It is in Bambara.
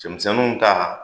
Cɛmisɛnninw ta